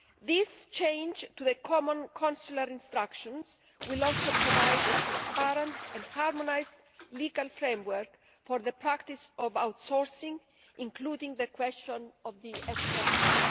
This change to the common consular instructions will also provide a transparent and harmonised legal framework for the practice of outsourcing, including the question of the extra fee.